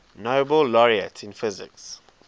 nobel laureates in physics